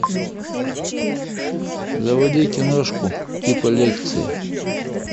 заводи киношку типа лекции